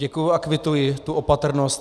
Děkuji a kvituji tu opatrnost.